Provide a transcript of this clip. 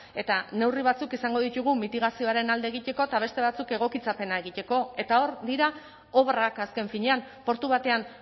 eta neurri batzuk izango ditugu mitigazioaren alde egiteko eta beste batzuk egokitzapena egiteko eta hor dira obrak azken finean portu batean